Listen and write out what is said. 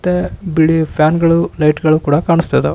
ಮತ್ತೆ ಬಿಳಿ ಫ್ಯಾನ್ ಗಳು ಲೈಟ್ ಳು ಕಾಣಿಸ್ತಾ ಇದ್ದವು.